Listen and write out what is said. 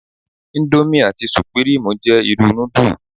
Íńdómì, àti Sùpírímù jẹ́ irú núdù.